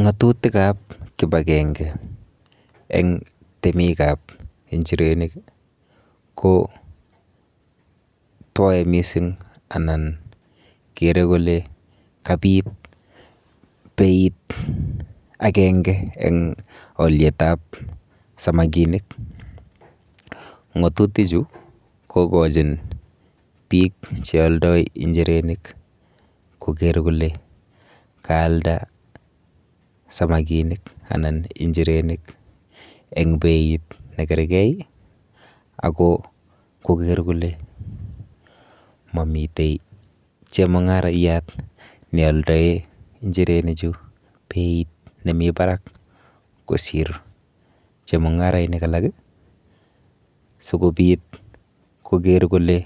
Ng'atutikap kipakenge eng' temikap injirenik ko twoe mising' anan kere kole kapit beit akenge eng' alyetap samakinik. Ng'atutichu kokochin biik chealdoi injirenik koker kole kaalda samakinik anan injirenik eng beit nekergei ako koker kole mamite chemung'arayat nialdoe injirenichu beit nemi barak kosir chemung'arainik alak sikobit koker kole